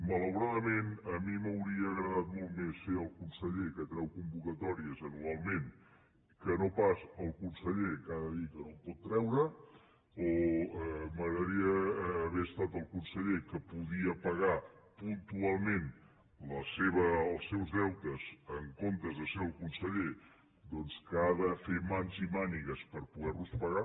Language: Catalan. malauradament a mi m’hauria agradat molt més ser el conseller que treu convocatòries anualment que no pas el conseller que ha de dir que no en pot treure o m’agradaria haver estat el conseller que podia pagar puntualment els seus deutes en comptes de ser el conseller que ha de fer mans i mànigues per poder los pagar